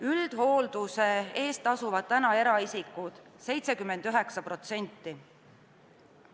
Üldhoolduse eest tasuvad täna eraisikud 79%.